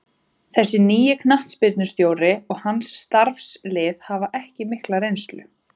Þessi nýi knattspyrnustjóri og hans starfslið hafa ekki mikla reynslu.